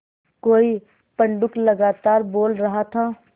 कोई पंडूक लगातार बोल रहा था